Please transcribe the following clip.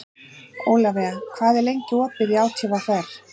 Ólafía, hvað er lengi opið í ÁTVR?